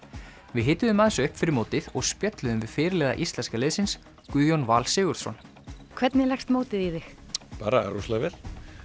við hituðum aðeins upp fyrir mótið og spjölluðum við fyrirliða íslenska liðsins Guðjón Val Sigurðsson hvernig leggst mótið í þig bara rosalega vel